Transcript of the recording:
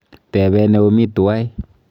Tebe neomi tuwai.